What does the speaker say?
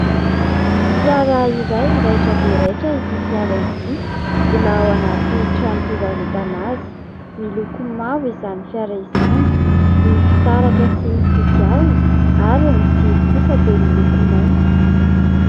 Fiara iray raitra dia raitra ity fiara ity, mbola ao anaty trano fivarotana azy. Miloko mavo izany fiara izany, ny fitaratra sy ny kodiarana ary ny jiro kosa dia miloko mainty.